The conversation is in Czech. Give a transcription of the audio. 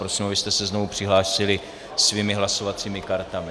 Prosím, abyste se znovu přihlásili svými hlasovacími kartami.